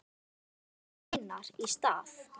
Við söknum vinar í stað.